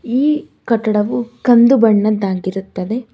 ಈ ಕಟ್ಟಡವು ಕಂದು ಬಣ್ಣದ್ದ ಆಗಿರುತ್ತದೆ.